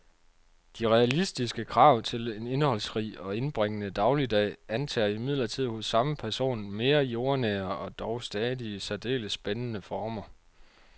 De realistiske krav til en indholdsrig og indbringende dagligdag antager imidlertid hos samme person mere jordnære og dog stadig særdeles spændende former.